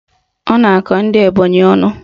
Ọ na-akọ ndị Ebonyị ọnụ.